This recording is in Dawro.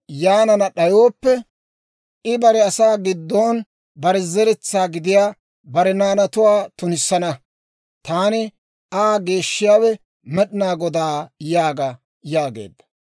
Yaanana d'ayooppe, I bare asaa giddon bare zeretsaa gidiyaa bare naanatuwaa tunissana. Taani Aa geeshshiyaawe, med'inaa Godaa yaaga› » yaageedda.